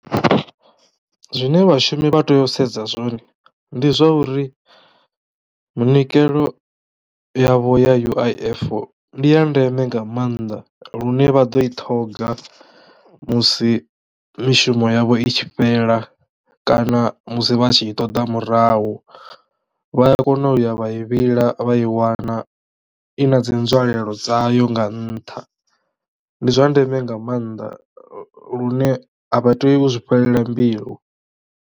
Zwine vhashumi vha teyo u sedza zwone ndi zwa uri munikelo yavho ya U_I_F ndi ya ndeme nga maanḓa lune vhaḓo i ṱhoga musi mishumo yavho i tshi fhela kana musi vha tshi i ṱoḓa murahu vha a kona u ya vha i vhila vha i wana i na dzi nzwalelo dzayo nga nnṱha. Ndi zwa ndeme nga mannḓa lune a vha tea u zwifhelela mbilu.